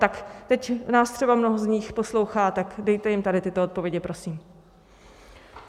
Tak teď nás třeba mnoho z nich poslouchá, tak dejte jim tady tyto odpovědi, prosím.